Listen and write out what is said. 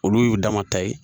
Olu y'u dama ta ye.